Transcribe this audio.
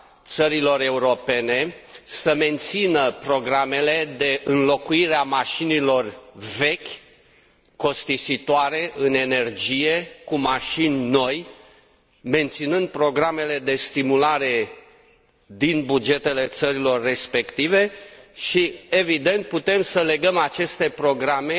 țărilor europene să mențină programele de înlocuire a mașinilor vechi, costisitoare în energie cu mașini noi, menținând programele de stimulare din bugetele țărilor respective și, evident, putem să legăm aceste programe